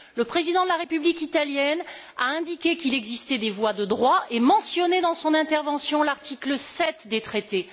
Le président de la République italienne a indiqué qu'il existait des voies de droit et mentionné, dans son intervention, l'article 7 des traités.